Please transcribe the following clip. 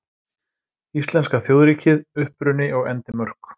Íslenska þjóðríkið: Uppruni og endimörk.